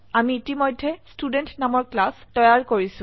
আমি ইতিমধ্যে ষ্টুডেণ্ট নামৰ ক্লাস তৈয়াৰ কৰিছো